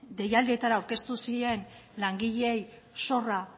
deialdietara aurkeztu ziren langileei zorra